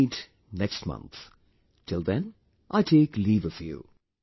We'll meet next month, till then I take leave of you